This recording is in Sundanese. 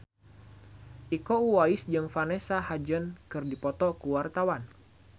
Iko Uwais jeung Vanessa Hudgens keur dipoto ku wartawan